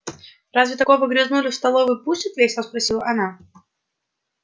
разве такого грязнулю в столовую пустят весело спросила она